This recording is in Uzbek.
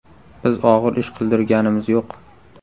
Biz og‘ir ish qildirganimiz yo‘q.